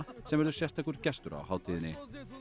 sem verður sérstakur gestur á hátíðinni